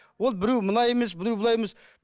ол біреу мұнай емес біреу былай емес